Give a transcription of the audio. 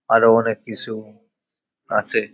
আরো অনেক কিছু আসে।